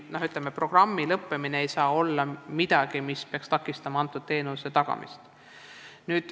Selle programmi lõppemine ei saa takistada selle teenuse tagamist.